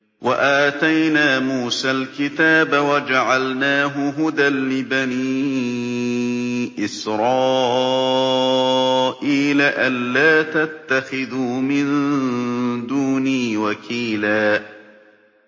وَآتَيْنَا مُوسَى الْكِتَابَ وَجَعَلْنَاهُ هُدًى لِّبَنِي إِسْرَائِيلَ أَلَّا تَتَّخِذُوا مِن دُونِي وَكِيلًا